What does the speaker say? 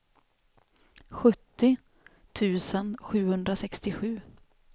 sjuttio tusen sjuhundrasextiosju